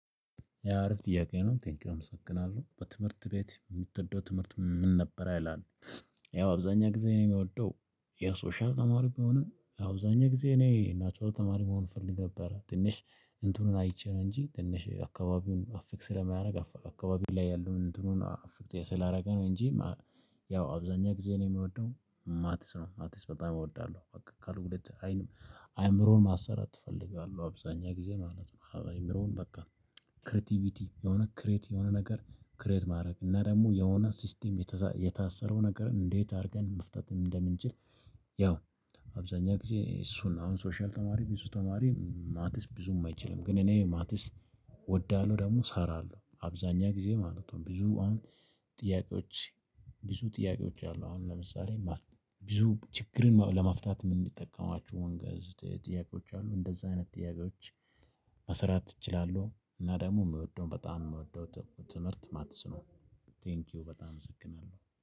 ያ አሪፍ ጥያቄ ነው ቴንኪው እመሰግናለሁ በትምህርት ቤት የምትወደው ትምህርት ምን ነበር ይላል። ያው አብዛኛ ጊዜ እኔ የምወደው የሶሻል ተማሪ ቢሆንም አብዛኛ ጊዜ እኔ ናቹራል ተማሪ መሆን እፈልግ ነበረ። እንትኑን አይቼ ነው እንጂ ትንሽ አካባቢውን አፌክት ስለማያደርግ አካባቢው ላይ ያለውን እንትኑን አፌክት ስላደረገ ነው እንጂ። ያው አብዛኛ ጊዜ ነው የምወደው ማትስ ነው ማትስ በጣም እወዳለሁ በቃ ካልኩሌት አይን። አእምሮን ማሰራት እፈልጋለህ አብዛኛው ጊዜ ማለት ነው። አእምሮን በቃ ክሬቲቪቲ የሆነ ክሬት የሆነ ነገር ክሬት ማድረግ እና ደግሞ የሆነ ሲስተም የታሰረው ነገርን እንዴት አድርገን መፍታትን እንደምንችል። ያው አብዛኛው ጊዜ እሱን አሁን ሶሻል ተማሪ ብዙ ተማሪ ማትስ ብዙም አይችልም። ግን እኔ ማትስ እወዳለሁ ደግሞ እሰራለሁ አብዛኛው ጊዜ ማለት ነው። ብዙ አሁን ጥያቄዎች። ብዙ ጥያቄዎች አሉ አሁን ለምሳሌ ብዙ ችግርን ለመፍታት የምንጠቀማችሁ ወንጌል ጥያቄዎች አሉ እንደዛ አይነት ጥያቄዎች። መሰራት እችላለሁ እና ደግሞ የምወደው በጣም የምወደው ትምህርት ማትስ ነው። ቴንኪው በጣም እሰክናለሁ